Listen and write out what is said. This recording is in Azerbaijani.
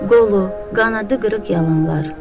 Qolu, qanadı qırıq yalanlar.